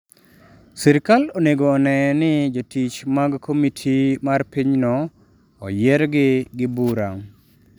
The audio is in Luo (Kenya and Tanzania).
Sirkal onego one ni jotich mag komiti mar pinyno oyiergi gi bura'.